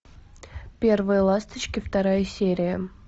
первые ласточки вторая серия